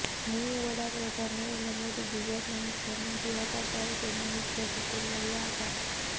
મુર્મુ વડાપ્રધાન નરેન્દ્ર મોદી ગુજરાતના મુખ્યમંત્રી હતા ત્યારે તેમના મુખ્ય સચિવ રહ્યા હતા